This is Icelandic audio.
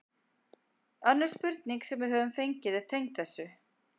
Önnur spurning sem við höfum fengið er tengd þessu: